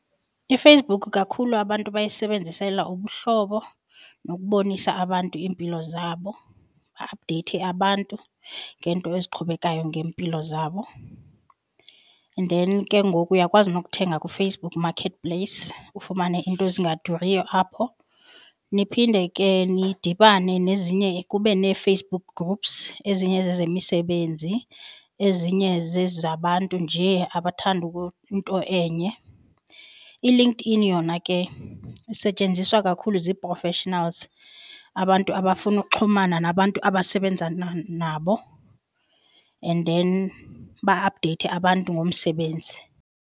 IFacebook kakhulu abantu bayisebenzisela ubuhlobo nokubonisa abantu iimpilo zabo ba-aphudeyithe abantu ngento eziqhubekayo ngeempilo zabo. And then ke ngoku uyakwazi nokuthenga kuFacebook Marketplace ufumane iinto ezingaduriyo apho, niphinde ke nidibane nezinye kube neFacebook groups, ezinye zezemisebenzi ezinye zezi zabantu nje abathanda into enye. ILinkedIn yona ke isetyenziswa kakhulu zii-professionals abantu abafuna ukuxhumana nabantu abasebenza nabo and then ba-aphudeyithe abantu ngomsebenzi.